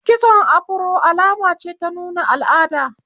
Kitson afaro alama ce ta nuna al'ada.